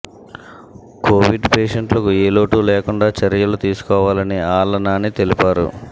Covid పేషెంట్లకు ఏలోటూ లేకుండా చర్యలు తీసుకోవాలని ఆళ్ల నాని తెలిపారు